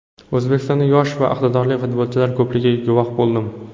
O‘zbekistonda yosh va iqtidorli futbolchilar ko‘pligiga guvoh bo‘ldim.